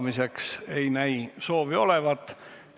Juhtivkomisjoni ettepanek on eelnõu 104 esimene lugemine lõpetada.